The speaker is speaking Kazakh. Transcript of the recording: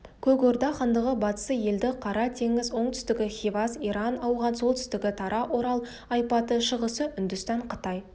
көк орда хандығы батысы еділ қара теңіз оңтүстігі хивас иран ауған солтүстігі тара орал ойпаты шығысы үндістан қытай